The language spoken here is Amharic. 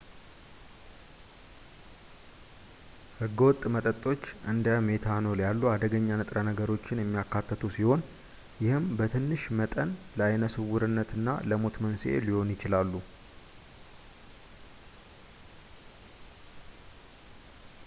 ህገወጥ መጠጦች እንደ ሜታኖል ያሉ አደገኛ ንጥረ ነገሮችን የሚያካትቱ ሲሆን ይህም በትንሽ መጠን ለአይነ ስውርነትና ለሞት መንስኤ ሊሆኑ ይችላሉ